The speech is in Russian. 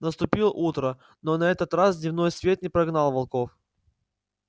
наступило утро но на этот раз дневной свет не прогнал волков